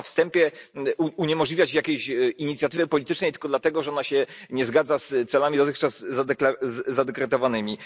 I nie można na wstępie uniemożliwiać jakieś inicjatywy politycznej tylko dlatego, że ona się nie zgadza z celami dotychczas zadekretowanymi.